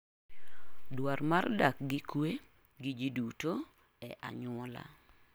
Dwar mar dak gi kue gi ji duto e anyuola.